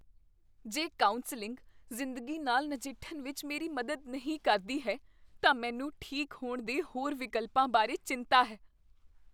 ਜੇ ਕਾਉਂਸਲਿੰਗ ਜ਼ਿੰਦਗੀ ਨਾਲ ਨਜਿੱਠਣ ਵਿੱਚ ਮੇਰੀ ਮਦਦ ਨਹੀਂ ਕਰਦੀ ਹੈ ਤਾਂ ਮੈਨੂੰ ਠੀਕ ਹੋਣ ਦੇ ਹੋਰ ਵਿਕਲਪਾਂ ਬਾਰੇ ਚਿੰਤਾ ਹੈ।